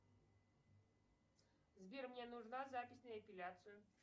сбер мне нужна запись на эпиляцию